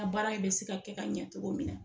A baara bɛ se ka kɛ ka ɲɛ cogo min nɛ